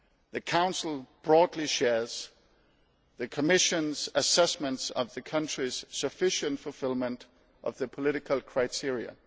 The Council broadly shares the Commission's assessment of the country's sufficient fulfilment of the political criteria.